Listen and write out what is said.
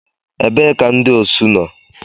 Ebee ka ndị osu nọ?